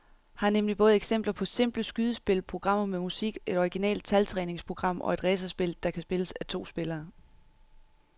Her er nemlig både eksempler på simple skydespil, programmer med musik, et originalt taltræningsprogram og et racerspil, der kan spilles af to spillere.